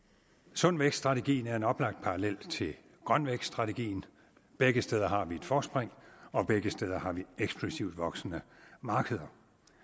sund vækst strategien er en oplagt parallel til grøn vækst strategien begge steder har vi et forspring og begge steder har vi eksplosivt voksende markeder